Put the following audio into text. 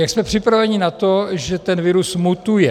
Jak jsme připraveni na to, že ten virus mutuje?